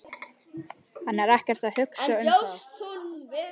Hann er ekkert að hugsa um það.